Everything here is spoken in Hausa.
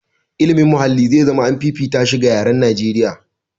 Ilimin muhalli zai zama an fifita shi ga yaran Najeriya.